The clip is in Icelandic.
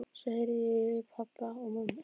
Svo heyri ég í pabba og mömmu.